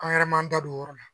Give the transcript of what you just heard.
An yɛrɛ m'an da don o yɔrɔ la